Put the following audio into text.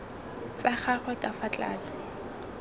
tsa gagwe ka fa tlase